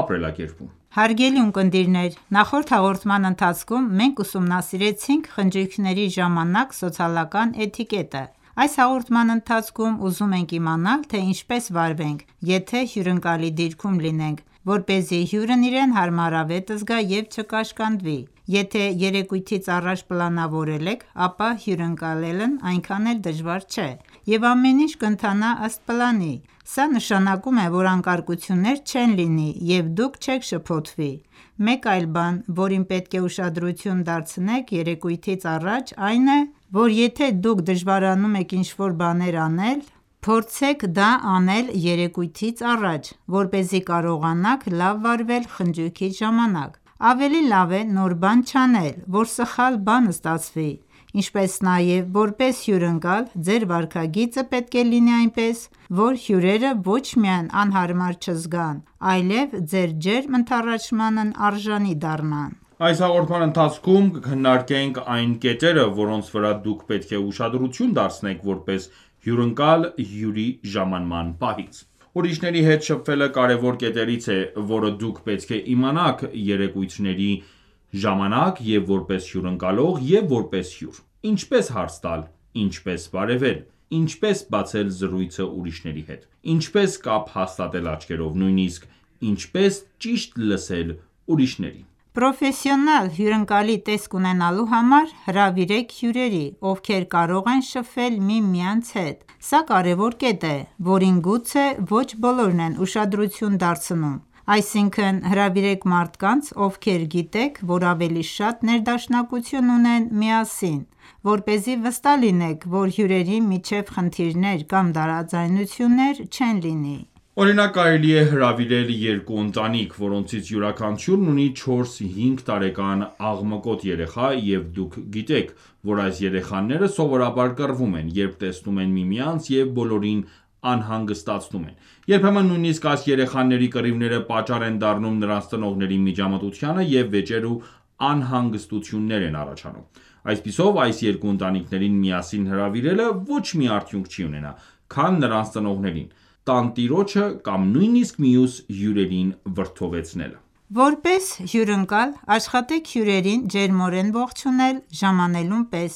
ապրելակերպում: Ողջույն, հարգելի ունկնդիրներ: Նախորդ հաղորդման ընթացքում մենք ուսումնասիրեցինք խնջույքների ժամանակ սոցիալական էթիկետը։ Այս հաղորդման ընթացքում ուզում ենք իմանալ, թե ինչպես վարվենք, եթե հյուրընկալի դիրքում լինենք, որպեսզի հյուրն իրեն հարմարավետ զգա և չկաշկանդվի։ Եթե երեկույթից առաջ պլանավորեք, ապա հյուրընկալելն այնքան էլ դժվար չէ, և ամեն ինչ կընթանա ըստ պլանի: Սա նշանակում է, որ անկարգություններ չեն լինի, և դուք չեք շփոթվի։ Մեկ այլ բան, որին պետք է ուշադրություն դարձնեք երեկույթից առաջ, այն է, որ եթե դուք դժվարանում եք ինչ-որ բաներ անել, փորձեք դա անել երեկույթից առաջ, որպեսզի կարողանաք լավ վարվել խնջույքի ժամանակ: Ավելի լավ է նոր բան չանել, որ սխալ բան ստացվի: Ինչպես նաև, որպես հյուրընկալ, ձեր վարքագիծը պետք է լինի այնպես, որ հյուրերը ոչ միայն անհարմար չզգան, այլև ձեր ջերմ ընդառաջմանն արժանի դառնան: Այս հաղորդման ընթացքում կքննարկենք այն կետերը, որոնց վրա դուք պետք է ուշադրություն դարձնեք որպես հյուրընկալ հյուրի ժամանման պահից։ Ուրիշների հետ շփվելը կարևոր կետերից է, որը դուք պետք է իմանաք երեկույթների ժամանակ և՛ որպես հյուրընկալող, և՛ որպես հյուր: Ինչպե՞ս հարց տալ: Ինչպե՞ս բարևել: Ինչպե՞ս բացել զրույցը ուրիշների հետ: Ինչպե՞ս կապ հաստատել աչքերով: Նույնիսկ ինչպե՞ս ճիշտ լսել ուրիշներին: Պրոֆեսիոնալ հյուրընկալի տեսք ունենալու համար հրավիրեք հյուրերի, ովքեր կարող են շփվել միմյանց հետ, սա կարևոր կետ է, որին գուցե ոչ բոլորն են ուշադրություն դարձնում։ Այսինքն՝ հրավիրեք մարդկանց, ովքեր գիտեք, որ ավելի շատ ներդաշնակություն ունեն միասին, որպեսզի վստահ լինեք, որ հյուրերի միջև խնդիրներ կամ տարաձայնություններ չեն լինի։ Օրինակ՝ կարելի է հրավիրեք երկու ընտանիք, որոնցից յուրաքանչյուրն ունի 4-5 տարեկան աղմկոտ երեխա, և դուք գիտեք, որ այս երեխաները սովորաբար կռվում են, երբ տեսնում են միմյանց և բոլորին անհանգստացնում են. Երբեմն նույնիսկ այս երեխաների կռիվները պատճառ են դառնում նրանց ծնողների միջամտությանը, և վեճեր ու անհանգստություններ են առաջանում։ Այսպիսով, այս երկու ընտանիքներին միասին հրավիրելը ոչ մի արդյունք չի ունենա, քան նրանց ծնողներին, տանտիրոջը կամ նույնիսկ մյուս հյուրերին վրդովեցնելը: Որպես հյուրընկալ, աշխատեք հյուրերին ջերմորեն ողջունել ժամանելուն պես: